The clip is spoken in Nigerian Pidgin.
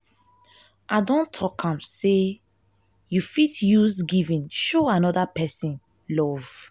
i don tok am sey you fit use giving show anoda pesin love.